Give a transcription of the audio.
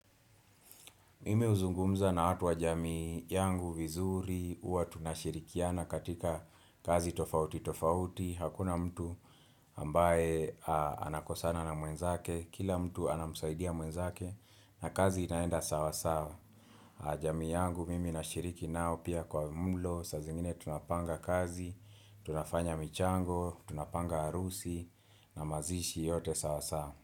Mimi huzungumza na watu wa jamii yangu vizuri, huwa tunashirikiana katika kazi tofauti tofauti, hakuna mtu ambaye anakosana na mwenzake, kila mtu anamsaidia mwenzake na kazi inaenda sawa sawa. Jamii yangu mimi nashiriki nao pia kwa mlo, saa zingine tunapanga kazi, tunafanya michango, tunapanga harusi na mazishi yote sawa sawa.